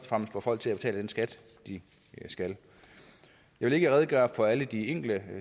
fremmest får folk til at betale den skat de skal jeg vil ikke redegøre for alle de enkelte